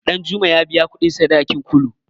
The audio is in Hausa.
Ɗanjuma ya biya kuɗin sadakin Kulu.